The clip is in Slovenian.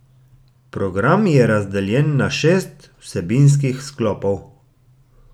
Program je razdeljen na šest vsebinski sklopov.